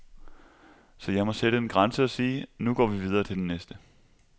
Så jeg må sætte en grænse og sige, nu går vi videre til den næste.